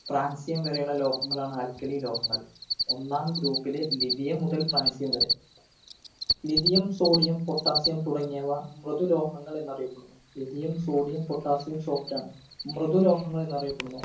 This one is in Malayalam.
francium വരെയുള്ള ലോഹങ്ങളാണ് alkali ലോഹങ്ങൾ ഒന്നാം group ലെ lithium മുതൽ francium വരെ lithium sodiumpotassium തുടങ്ങിയവ മൃദു ലോഹങ്ങൾ എന്നറിയപ്പെടുന്നു lithium sodiumpotassiumsoft ആണ് മൃദു ലോഹങ്ങൾ എന്നറിയപ്പെടുന്നു